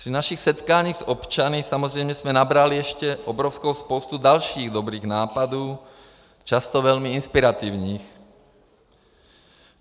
Při našich setkáních s občany samozřejmě jsme nabrali ještě obrovskou spoustu dalších dobrých nápadů, často velmi inspirativních.